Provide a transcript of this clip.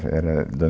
era da